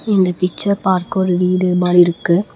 இந்த பிச்சர் பார்க்க ஒரு வீடு மாறி இருக்கு.